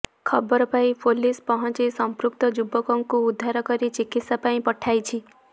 ଖବର ପାଇ ପୁଲିସ ପହଞ୍ଚି ସଂପୃକ୍ତ ଯୁବକକୁ ଉଦ୍ଧାର କରି ଚିକିତ୍ସା ପାଇଁ ପଠାଇଛି